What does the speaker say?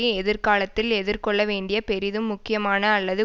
எதிர்காலத்தில் எதிர்கொள்ள வேண்டிய பெரிதும் முக்கியமான அல்லது